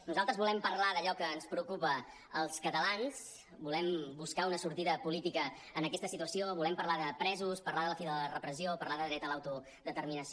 nosaltres volem parlar d’allò que ens preocupa als catalans volem buscar una sortida política a aquesta situació volem parlar de presos parlar de la fi de la repressió parlar de dret a l’autodeter·minació